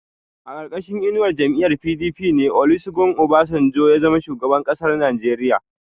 A ƙarƙashin inuwar jam'iyyar PDP ne Olusegun Obasanjo ya zama shugaban ƙasar Najeriya.